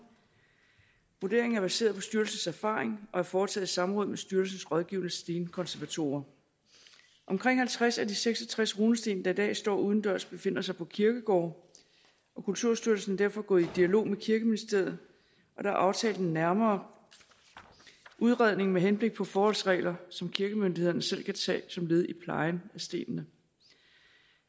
vurderingen er baseret på styrelsens erfaring og er foretaget i samråd med styrelsens rådgivende stenkonservatorer omkring halvtreds af de seks og tres runesten der i dag står udendørs befinder sig på kirkegårde og kulturstyrelsen er derfor gået i dialog med kirkeministeriet og der er aftalt en nærmere udredning med henblik på forholdsregler som kirkemyndighederne selv kan tage som led i plejen af stenene